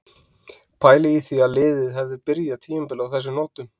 Pælið í því ef liðið hefði byrjað tímabilið á þessum nótum?